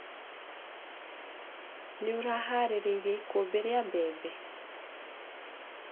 Nĩũraharĩirie ikũmbĩ ria mbembe.